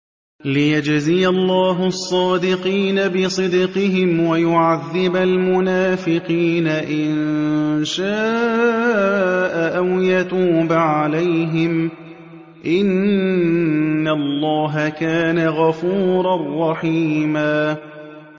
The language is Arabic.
لِّيَجْزِيَ اللَّهُ الصَّادِقِينَ بِصِدْقِهِمْ وَيُعَذِّبَ الْمُنَافِقِينَ إِن شَاءَ أَوْ يَتُوبَ عَلَيْهِمْ ۚ إِنَّ اللَّهَ كَانَ غَفُورًا رَّحِيمًا